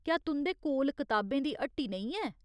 क्या तुं'दे कोल किताबें दी ह्ट्टी नेईं है ?